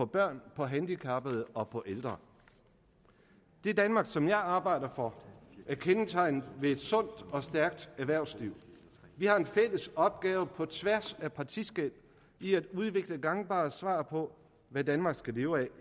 børn handicappede og ældre det danmark som jeg arbejder for er kendetegnet ved et sundt og stærkt erhvervsliv vi har en fælles opgave på tværs af partiskel i at udvikle gangbare svar på hvad danmark skal leve af